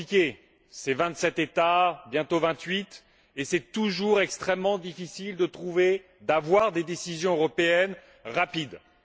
c'est compliqué ce sont vingt sept États, bientôt vingt huit, et il est toujours extrêmement difficile de trouver et d'adopter des décisions européennes rapidement.